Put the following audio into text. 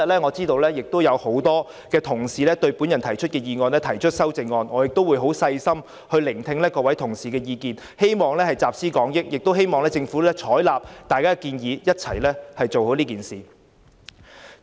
我知道有很多同事對我的議案提出修正案，我會細心聆聽各位的意見，希望集思廣益，亦希望政府採納大家的建議，一起做好這件事。